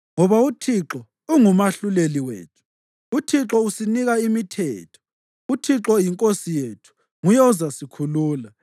Ngoba uThixo ungumahluleli wethu, uThixo usinika imithetho, uThixo yinkosi yethu; nguye ozasikhulula.